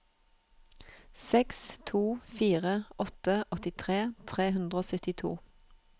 seks to fire åtte åttitre tre hundre og syttito